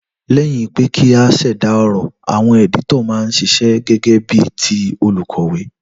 Léyìn pe kí a sèdà èrò, àwon editor ma n sisẹ́ gégé bí ti olùkòwé